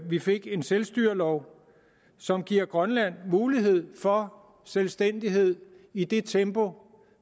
vi fik en selvstyrelov som giver grønland mulighed for selvstændighed i det tempo